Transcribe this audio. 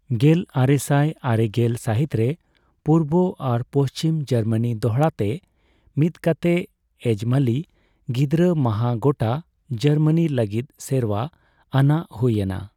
ᱜᱮᱞ ᱟᱨᱮᱥᱟᱭ ᱟᱨᱮᱜᱮᱞ ᱥᱟᱹᱦᱤᱛ ᱨᱮ ᱯᱩᱨᱩᱵᱽ ᱟᱨ ᱯᱚᱪᱷᱤᱢ ᱡᱟᱨᱢᱟᱱᱤ ᱫᱚᱲᱦᱟᱛᱮ ᱢᱤᱫᱠᱟᱛᱮ, ᱮᱡᱽᱢᱟᱹᱞᱤ ᱜᱤᱫᱽᱨᱟᱹ ᱢᱟᱦᱟ ᱜᱚᱴᱟ ᱡᱟᱨᱢᱟᱱᱤ ᱞᱟᱹᱜᱤᱫ ᱥᱮᱨᱣᱟ ᱟᱱᱟᱜ ᱦᱩᱭ ᱮᱱᱟ ᱾